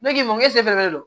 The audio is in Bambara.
Ne k'i ma ko don